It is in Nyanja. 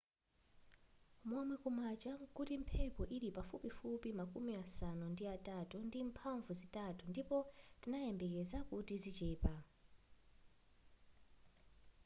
momwe kumacha nkuti mphepo yili pafupifupi makumi asanu ndi atatu ndi mphamvu zitatu ndipo tinayembekeza kuti zichepa